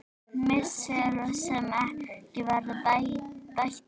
Missir sem ekki verður bættur.